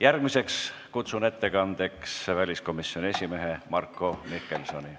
Järgmisena kutsun ettekandjaks väliskomisjoni esimehe Marko Mihkelsoni.